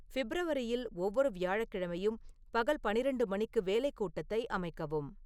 ஃபிப்ரவரியில் ஒவ்வொரு வியாழக்கிழமையும் பகல் பன்னிரண்டு மணிக்கு வேலை கூட்டத்தை அமைக்கவும்